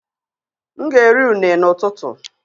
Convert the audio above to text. M ga-eri unne n’ụtụtụ